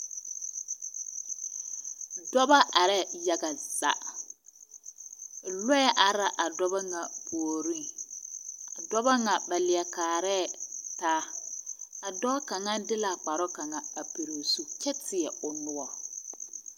Dɔba are yaga zaa lɔɛ are la a dɔba ŋa puoriŋ, a dɔba ŋa leɛ kaare taa a dɔɔ kaŋa de la kparooŋ a pɔge o zu kyɛ teɛ o noɔre